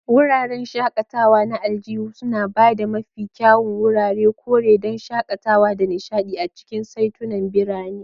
Wuraren shakatawa na aljihu suna ba da mafi kyawun wuraren kore don shakatawa da nishaɗi a cikin saitunan birane.